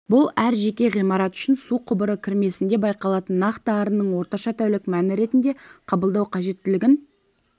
бұл әр жеке ғимарат үшін су құбыры кірмесінде байқалатын нақты арынның орташа тәулік мәні ретінде қабылдау қажеттілігін